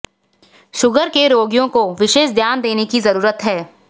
sugar के रोगियों को विशेष ध्यान देने की जरूरत है